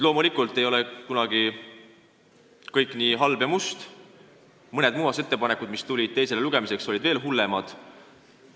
Loomulikult ei ole kunagi kõik halb ja must, ent mõned muudatusettepanekud, mis tulid teiseks lugemiseks, on veel hullemad.